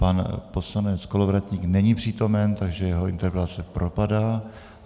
Pan poslanec Kolovratník není přítomen, takže jeho interpelace propadá.